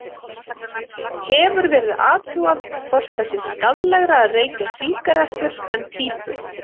Hefur verið athugað hvort það sé skaðlegra að reykja sígarettur en pípu?